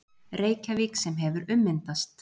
Reykjavík sem hefur ummyndast